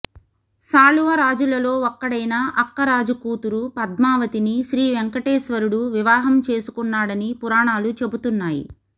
సాళువ రాజులలో ఒకడైన అక్కరాజు కూతురు పద్మావతిని శ్రీవేంకటేశ్వరుడు వివాహం చేసుకున్నాడని పురాణాలు చెబుతున్నాయి